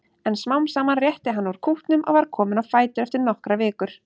En smám saman rétti hann úr kútnum og var kominn á fætur eftir nokkrar vikur.